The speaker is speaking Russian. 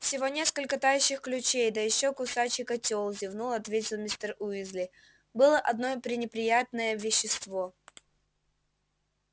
всего несколько тающих ключей да ещё кусачий котёл зевнув ответил мистер уизли было одно пренеприятное вещество